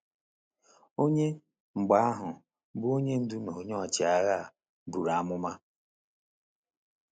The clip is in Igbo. Onye, mgbe ahụ, bụ Onye Ndu na Onye Ọchịagha a buru amụma?